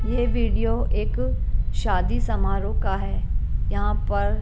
ये वीडियो एक शादी समारोह का है यहां पर।